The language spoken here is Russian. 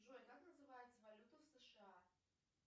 джой как называется валюта в сша